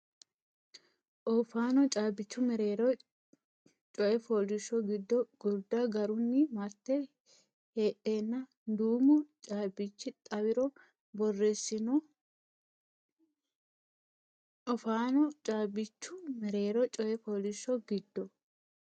Oofaano caabbichu mereero coy fooliishsho giddo gurda garunni marte heedheenna duumu caabbichi xawiro borreessino Oofaano caabbichu mereero coy fooliishsho giddo.